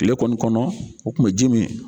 Tile kɔni kɔnɔ o tun bɛ ji min.